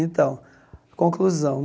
Então, conclusão.